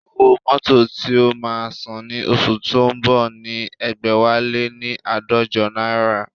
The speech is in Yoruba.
Owó mótò tí o máa san ní oṣù tó ń bọ̀ ni ẹgbẹ̀wáléní aadọjọ náírà